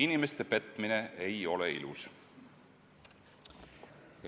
Inimeste petmine ei ole ilus.